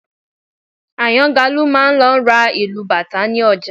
Àyàngalú máa lọ ra ìlù bàtá ní ọjà